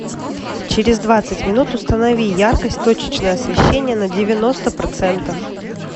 через двадцать минут установи яркость точечное освещение на девяносто процентов